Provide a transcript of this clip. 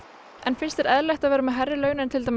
finnst þér eðlilegt að vera með hærri laun en til dæmis